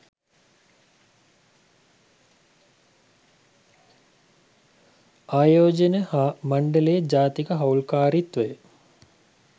ආයෝජන හා මණ්ඩලයේ ජාතික හවුල්කාරීත්වය